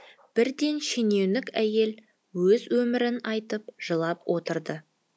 бірден шенеунік әйел өз өмірін айтып жылап отырды